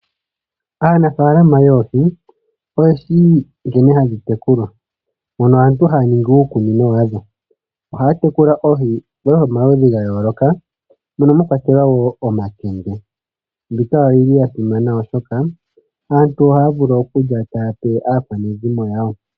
Aanafalama yoohi oye shi nkene hadhi tekulwa mono aantu haya ningi uukunino wa dho. Ohaya tekula oohi omaludhi ga yooloka mono mwa kwatelwa omakende. Mbika oyi li ya simana, oshoka aantu ohaya vulu okulya taya pe aakwanezimo yawo.